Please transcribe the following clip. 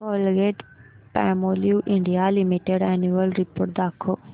Colgate Palmolive India limited annual report दाखव